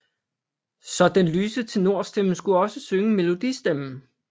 Så den lyse tenor stemme skulle også synge melodi stemmen